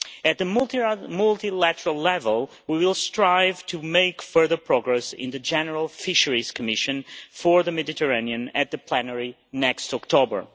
At a multilateral level we will strive to make further progress in the General Fisheries Commission for the Mediterranean at the plenary next October.